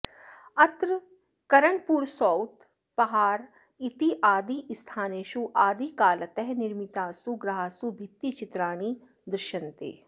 अत्र करनपुर सौत् पहार् इत्यादिस्थानेषु आदिकालतः निर्मितासु गुहासु भित्तिचित्राणि दृश्यन्ते